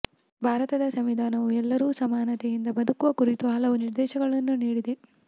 ಭಾರತದ ಸಂವಿಧಾನವು ಎಲ್ಲರೂ ಸಮಾನತೆಯಿಂದ ಬದುಕುವ ಕುರಿತು ಹಲವು ನಿರ್ದೇಶನಗಳನ್ನು ನೀಡಿದೆ